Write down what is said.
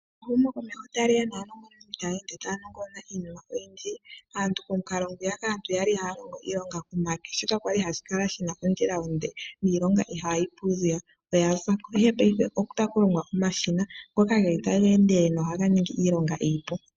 Ehumokomeho sho tali ende tali ya naanongononi otaa ende taa nongonona iinima oyindji. Aantu komukalo ngwiyaka kwa li haa longo ko make okwa li hashi kala shi na ondjila onde niilongo ihaayi pu mbala oya za ko, ihe paife otaku longwa omashina ngoka ge li taga endelele nohaga ningi iilonga iipu.